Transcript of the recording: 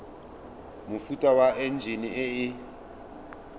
mofuta wa enjine e e